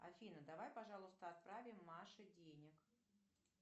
афина давай пожалуйста отправим маше денег